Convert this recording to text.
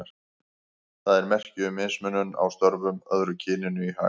Það er merki um mismunun á störfum, öðru kyninu í hag.